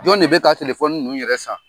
Jɔn de bɛ ka ninnu yɛrɛ san?